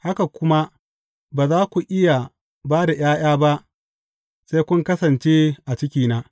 Haka ku ma, ba za ku iya ba da ’ya’ya ba sai kun kasance a cikina.